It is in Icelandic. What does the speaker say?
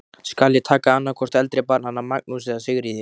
Skal ég taka annað hvort eldri barnanna, Magnús eða Sigríði.